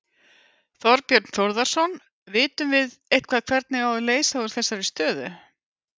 Þorbjörn Þórðarson: Vitum við eitthvað hvernig á að leysa úr þessari stöðu?